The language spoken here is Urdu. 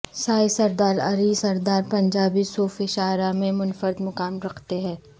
سائیں سردار علی سردار پنجابی صوفی شعراء میں منفرد مقام رکھتے ہیں